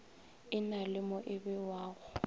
e na le mo ebewago